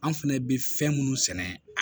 An fɛnɛ bɛ fɛn minnu sɛnɛ